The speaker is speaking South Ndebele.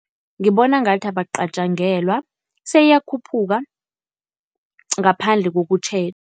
Ngibona ngathi abacatjangelwa seyiyakhuphuka, ngaphandle